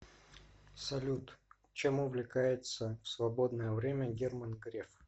салют чем увлекается в свободное время герман греф